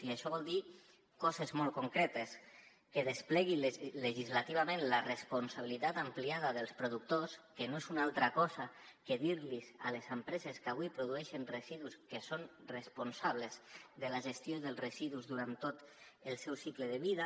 i això vol dir coses molt concretes que desplegui legislativament la responsabilitat ampliada dels productors que no és una altra cosa que dir a les empreses que avui produeixen residus que són responsables de la gestió dels residus durant tot el seu cicle de vida